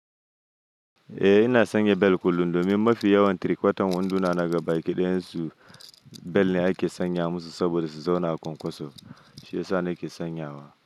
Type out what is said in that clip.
Eh ina sanya bel kullum domin mafi yawan tiri-kwatan wanduna na gabaki ɗayansu, bel ne ake sanya musu saboda su zauna a kwankwaso. Shi ya sa nake sanyawa.